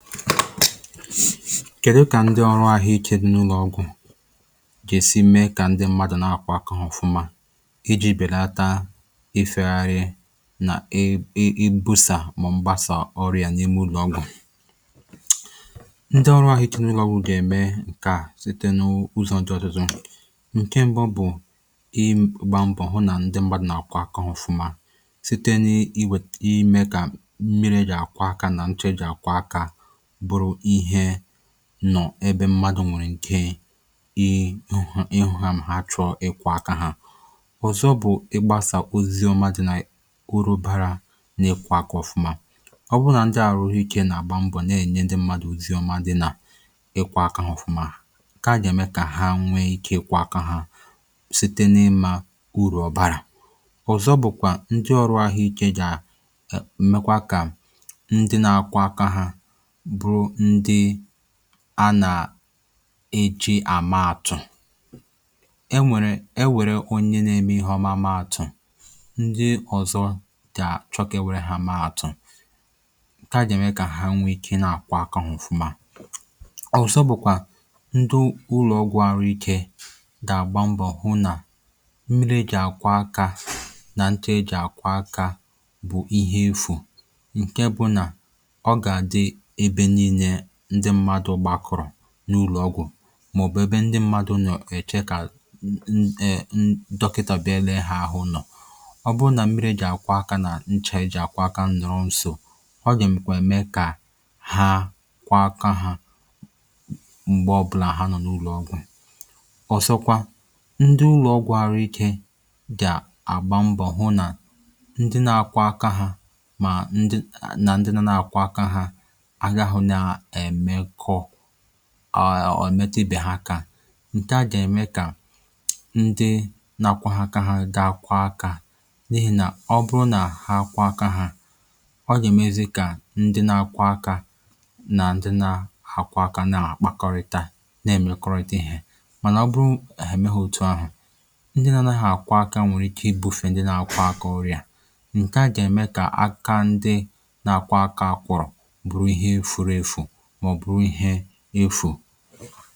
kẹ̀dụ kà ọrụ ahuike dị n’ụlọ̀ ọgwụ̄ gà èsi mee kà ndị mmadù nà àkwọ akā ọfụma ịjị̄ bèlata ị fẹ̄ gharị nà ị ị ị busà mà ọ̀ mbasà ọrịà n’ime ụlọ̀ ọgwụ̀ ndị ọrụ ahụike n’ulọ̀ ọgwụ̀ gà ẹ̀mẹ kà site n’uzọ̄ dị ọtụtụ ǹkẹ mbụ bụ̀ ị gbā mbọ̀ hụ nà ndị mmadū nà àkwọ akā ọfụma site n’i..i wèt..ị mẹ̄ kà mmirī nà àkwọ akā nà nchà e jì àkwọ akā bụrụ ihẹ̄ nọ̀ ẹbẹ mmadū nwẹ̀rẹ̀ ike ya ị nọ̀họ̀ ị hụga mà ha chọ ịkwọ̄ aka hà ọ̀zọ bụ̀ ị gbàsà ozi oma dị na ụrụ bara n’ịkwọ̄ aka ọfụma ọ bụ nà ndị ahụikē nà àgba mbọ̀ nà ẹ̀nyẹ ndị mmadu ozi ọma dị nà ịkwọ̄ aka hā ọfụma a gà ẹ̀mẹ kà ha nwẹ ike ịkwọ aka ha site n’ịmā ụrụ̀ ọ bàrà ọzọ bụ̀kwà ndị ọrụ̄ àhụ ike gà ẹ̀ mẹkwa kà ndị na-akwọ akā hā bụrụ ndị a nà à eji àma àtụ̀ ẹ nwẹ̀rẹ̀..e wẹ̀rẹ onye nā ẹmẹ ihe ọma maa àtụ̀ ndị ọ̀zọ gà àchọ kà à e wẹ̀rẹ hā mẹẹ àtụ ǹkẹ̀ à gà ẹ̀mẹ kà ha nwẹ ikē ị nà àkwọ akā hā ọ̀fụma ọ̀zọ bụ̀kwà ndị ụlọ̀ ọgwụ̄ arụ̄ ikē gà àgba mbọ̀ hụ nà mmiri e jị̀ àkwọ akā nà nchā e jị àkwọ akā bụ̀ ihe efù ǹkẹ bụ nà ọ gà àdị ẹbẹ nille ndị mmadū gbakọ̀rọ̀ n’ụlò ọgwụ̀ mà ọ̀ bụ ẹbẹ ndị mmadū nọ̀ ẹchẹ kà n..n..ẹ̀..dọkịtā bịa lẹẹ hā ahụ̄ nọ̀ ọ bụụ nà mmirī e jị àkwọ akā nà nchà e jị̀ àkwọ akā nọ̀rọ nso ọ gà ẹ̀mẹkwẹ mẹẹ kà ha kwọ aka hā m̀gbẹ ọbụlà ha nọ̀ n’ụlọ̀ ọgwụ̀ ọ̀zọ kwa ndị ụlọ ọgwụ̄ àhụ ikē gà àgba mbọ̀ hụ nà ndị nā akwọ̄ aka ha mà ndị nà ndị nā nà àkwọ aka hā anya hụ nā ẹ̀mẹkọ à ọ̀ ẹmẹtụ ibē hā akā ǹḳẹ̀ à gà ẹ̀mẹ kà ndị na akwọhọ̄ aka ha ga kwọ akā n’ihì nà ọ bụrụ nà ha kwọ aka hā ọ gà èmezi kà ndị nā akwọ akā nà ndị nā akwọ akā nà àkpakọrịta nà ẹ̀mẹkọrịta ihē mànà ọ bụrụ nà hà ẹmẹghī ou uahụ̀ ndị nā anaghị àkwọ akā nwẹ̀rẹ ị bufè ndị nā akwọ akā ọrịà ǹkẹ̀ à gà ẹ̀mẹ kà aka ndị na akwọ akā akwọrọ̀ bụrụ ihe furu efù mà ọ̀ bụrụ ihẹ̄ efù